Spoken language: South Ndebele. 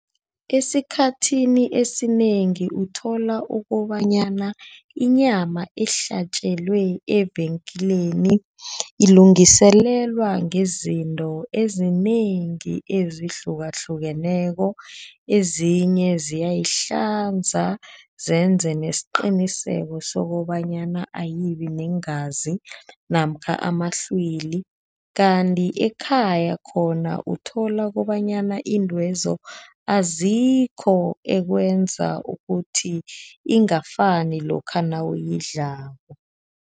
Esikhathini esinengi uthola ukobanyana inyama ehlatjelwa evenkeleni ilungiselelswa ngezinto ezinengi ezihlukahlukeneko, ezinye ziyayihlanza zenze nesiqiniseko sokobanyana ayibi neengazi namkha amahlwili, kanti ekhaya khona uthola kobanyana iintwezo azikho ekwenza ukuthi ingafani lokha nawuyidlako.